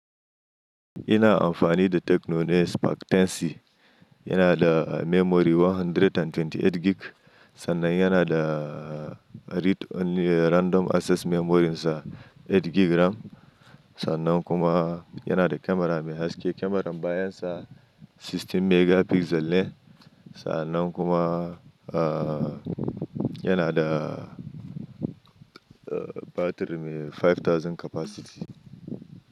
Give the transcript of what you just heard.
Ina amfani da tekno ne Spark 10c, yana da memory 128 gig, sannan yana da read only random access memory sa eight gig RAM, sannan kuma yana da kamara mai haske. Kamarar bayan sa sixteen megapixel ne, sannan kuma yana da batiri mai five thousand capacity.